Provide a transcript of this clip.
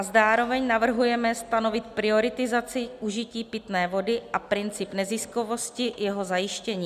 A zároveň navrhujeme stanovit prioritizaci užití pitné vody a princip neziskovosti jeho zajištění.